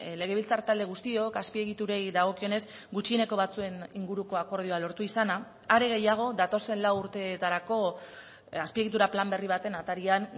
legebiltzar talde guztiok azpiegiturei dagokionez gutxieneko batzuen inguruko akordioa lortu izana are gehiago datozen lau urteetarako azpiegitura plan berri baten atarian